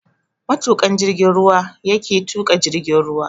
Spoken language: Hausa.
Matuƙan jigin ruwa yake tuƙa jirgin ruwa.